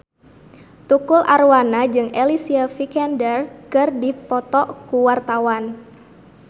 Tukul Arwana jeung Alicia Vikander keur dipoto ku wartawan